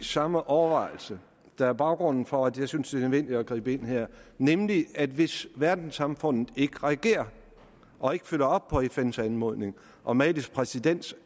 samme overvejelse der er baggrunden for at jeg synes det er nødvendigt at gribe ind her nemlig at hvis verdenssamfundet ikke reagerer og ikke følger op på fns anmodning og malis præsidents